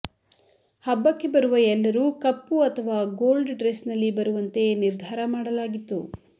ಹಬ್ಬಕ್ಕೆ ಬರುವ ಎಲ್ಲರೂ ಕಪ್ಪು ಅಥವಾ ಗೋಲ್ಡ್ ಡ್ರೆಸ್ ನಲ್ಲಿ ಬರುವಂತೆ ನಿರ್ಧಾರ ಮಾಡಲಾಗಿತ್ತು